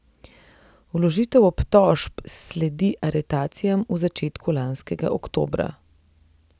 Vložitev obtožb sledi aretacijam v začetku lanskega oktobra.